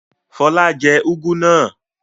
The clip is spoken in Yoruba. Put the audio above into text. Fọlá jẹ úgú náà?